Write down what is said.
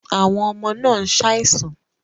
Àwọn ọmọ náà ń ṣàìsàn